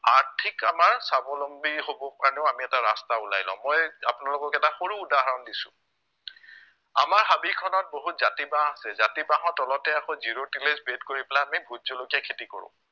আৰ্থিক আমাৰ স্ৱাৱলম্বী হ'বৰ কাৰণেও আমি এটা ৰাস্তা উলাই লও মই আপোনালোকক এটা সৰু উদাহৰণ দিছো, আমাৰ হবিখনত বহুত জাতি বাঁহ আছে, জাতি বাঁহৰ তলতেই আকৌ zero tillage bed কৰি পেলাই আমি ভোট জলকীয়া খেতি কৰো